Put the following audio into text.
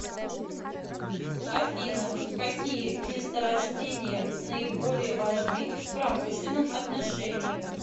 афина какие месторождения наиболее важны в промышленном отношении